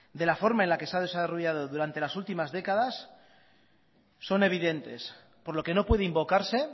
de la forma en la que se ha desarrollado durante las últimas décadas son evidentes por lo que no puede invocarse